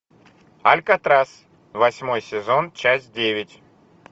алькатрас восьмой сезон часть девять